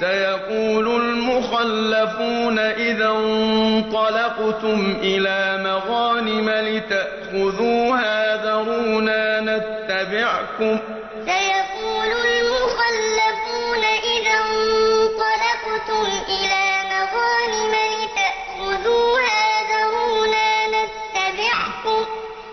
سَيَقُولُ الْمُخَلَّفُونَ إِذَا انطَلَقْتُمْ إِلَىٰ مَغَانِمَ لِتَأْخُذُوهَا ذَرُونَا نَتَّبِعْكُمْ ۖ